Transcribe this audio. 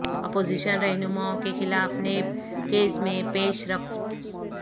opposition رہنماوں کے خلاف نیب کیسز میں پیش رفت